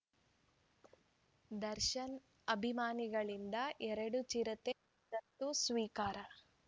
ದರ್ಶನ್‌ ಅಭಿಮಾನಿಗಳಿಂದ ಎರಡು ಚಿರತೆ ದತ್ತು ಸ್ವೀಕಾರ